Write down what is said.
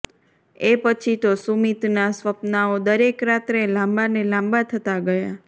એ પછી તો સુમિતના સ્વપ્નાંઓ દરેક રાત્રે લાંબા ને લાંબા થતાં ગયાં